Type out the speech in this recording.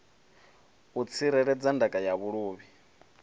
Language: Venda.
u tsireledza ndaka ya vhuluvhi